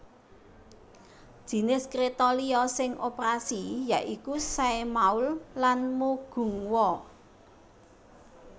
Jinis kréta liya sing operasi ya iku Saemaul lan Mugunghwa